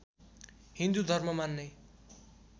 हिन्दू धर्म मान्ने